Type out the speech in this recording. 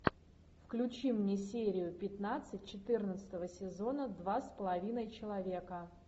включи мне серию пятнадцать четырнадцатого сезона два с половиной человека